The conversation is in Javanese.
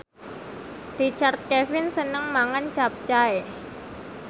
Richard Kevin seneng mangan capcay